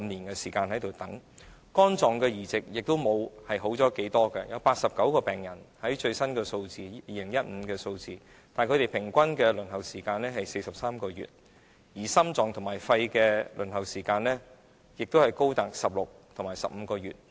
而在肝臟移植方面，情況亦並不理想，根據2015年的最新數字顯示，有89名病人，平均的輪候時間是43個月；而心臟和肺移植的輪候時間亦高達16個月和15個月。